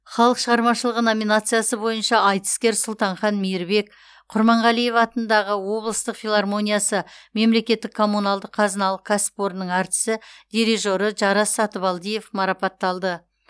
халық шығармашылығы номинациясы бойынша айтыскер сұлтанхан мейірбек құрманғалиев атындағы облыстық филармониясы мемлекеттік коммуналдық қазыналық кәсіпорнының әртісі дирижері жарас сатыбалдиев марапатталды